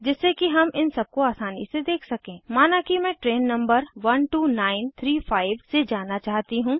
जिससे कि हम इन सबको आसानी से देख सकें माना कि मैं ट्रैन नंबर 12935 से जाना चाहती हूँ